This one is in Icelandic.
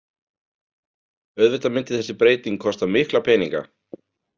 Auðvitað myndi þessi breyting kosta mikla peninga.